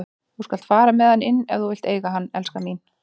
Þú skalt fara með hann inn ef þú vilt eiga hann, elskan mín.